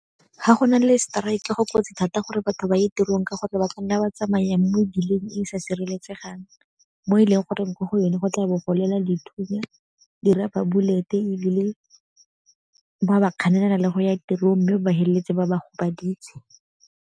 Ga go na le seteraeke go kotsi thata gore batho ba ye tirong ka gore ba ka nna ba tsamaya mo mebileng e e sa sireletsegang, mo e leng gore mo go yone go tla bo go lela dithunya, di-rubber bullet-e ebile ba ba kganelela le go ya tirong mme ba ba feleletse ba ba go gobaditse.